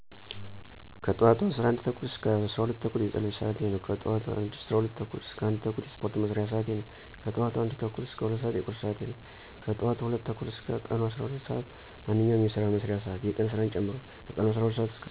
ከጠዋቱ 11:30 - 12:30 የፀሎት ስዓቴ ነው። ከጠዋቱ 12:30 - 1:30 የስፓርት መስሪያ ስዓቴ ነው። ከጠዋቱ 1:30 - 2:00 የቁርስ ስዓቴ ነው። ከጠዋቱ 2:00 እስከ ቀኑ 12:00 ስዓት ማንኛውንም የስራ መስሪያ ስዓት የቀን ስራን ጨምሮ። ከቀኑ12:00 - ምሸቱ 2:00 የእራት ስዓቴ ነው። ከምሸቱ 2:00 - 4:00 ማጥኛ እና የፊክሽን መከታተያ ስዓቴ ነው። ከምሸቱ 4:00 - 11:30 የእንቅልፍ ስዓቴ ነው።